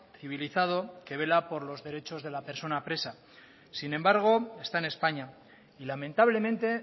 civilizado que vela por los derechos de la persona presa sin embargo está en españa y lamentablemente